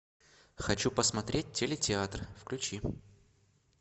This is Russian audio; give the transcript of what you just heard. хочу посмотреть телетеатр включи